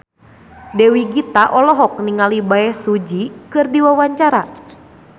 Dewi Gita olohok ningali Bae Su Ji keur diwawancara